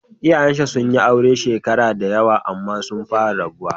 Iyayenshi sun yi aure shekaru da yawa amma sun fara rabuwa.